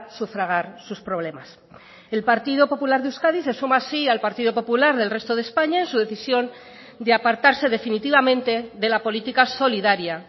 sufragar sus problemas el partido popular de euskadi se suma así al partido popular del resto de españa en su decisión de apartarse definitivamente de la política solidaria